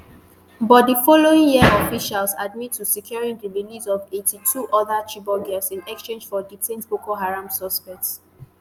but di following year officials admit to securing di release of eighty-two oda chibok girls in exchange for detained boko haram suspects